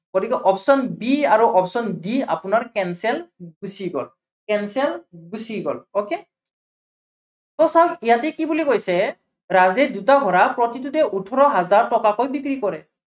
গতিকে option b আৰু option d আপোনাৰ cancel গুচি গল, cancel গুচি গল okay so চাওক ইয়াতে কি বুলি কৈছে, ৰাজে দুটা ঘোড়া প্ৰতিটোতে ওঠৰ হাজাৰ টকাকৈ বিক্ৰী কৰে।